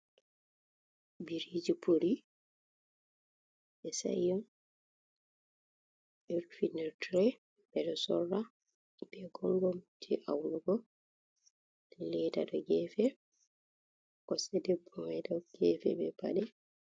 "Biriiji puri" ɓe sa'i on ɗo rufi nder tire, ɓeɗo sora nda Gongomi, nda leda ha gefe, kosɗe debbo mai ɗo gefe be pade.